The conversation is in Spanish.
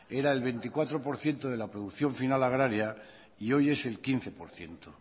era el veinticuatro por ciento de la producción final agraria y hoy es el quince por ciento